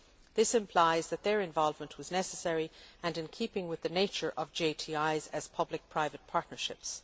This implies that their involvement was necessary and in keeping with the nature of JTIs as public private partnerships.